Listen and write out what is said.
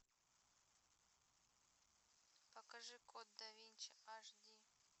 покажи код да винчи аш ди